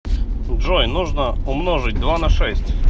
джой нужно умножить два на шесть